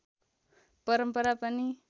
परम्परा पनि